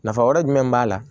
Nafa wɛrɛ jumɛn b'a la